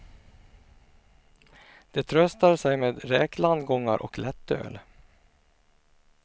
De tröstar sig med räklandgångar och lättöl.